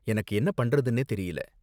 எனக்கு என்ன பண்றதுனே தெரியல.